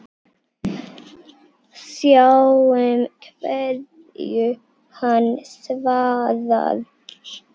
Sjáum hverju hann svarar.